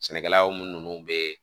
Sɛnɛkɛlaw minnu bɛ